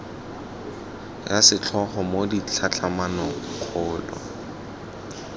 ya setlhogo mo ditlhatlhamanong kgolo